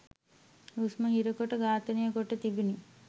හුස්ම හිර කොට ඝාතනය කොට තිබුනි.